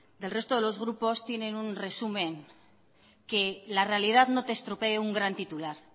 del resto de los grupos tienen un resumen que la realidad no te estropee un gran titular